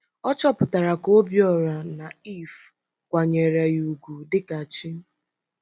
Ọ chọpụtara ka Obíọra na Iv kwanyere ya ugwu dịka chi.